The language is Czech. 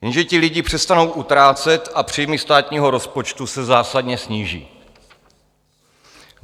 Jenže ti lidé přestanou utrácet a příjmy státního rozpočtu se zásadně sníží.